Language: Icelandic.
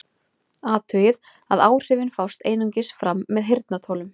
Athugið að áhrifin fást einungis fram með heyrnartólum.